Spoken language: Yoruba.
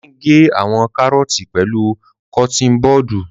Dele ń ge àwọn kàrọọti pẹlu kọtin bọọdu.